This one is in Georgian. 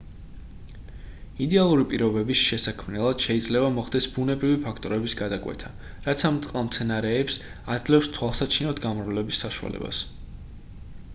იდეალური პირობების შესაქმნელად შეიძლება მოხდეს ბუნებრივი ფაქტორების გადაკვეთა რაც ამ წყალმცენარეებს აძლევს თვალსაჩინოდ გამრავლების საშუალებას